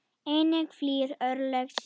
Enginn flýr örlög sín.